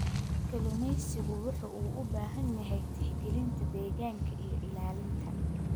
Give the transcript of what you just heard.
Kalluumeysigu wuxuu u baahan yahay tixgelinta deegaanka iyo ilaalinta.